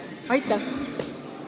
Aitäh!